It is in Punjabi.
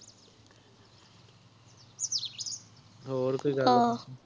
ਹੋਰ ਕੋਈ ਗੱਲ ਬਾਤ